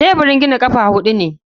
Teburin gina ƙafa huɗu ne.